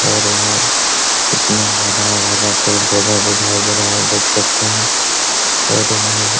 और यहां इतना हरा-भरा पेड़-पौधा दिखाई दे रहा है आप देख सकते हैं और यें --